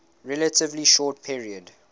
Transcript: relatively short period